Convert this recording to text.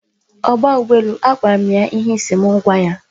Ogba ugboelu, a gwara m ya ihe I si m gwa ya.